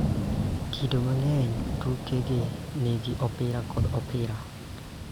Kido mang�eny, tuke gi nigi opira kod opira